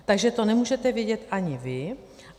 Takže to nemůžete vědět ani vy.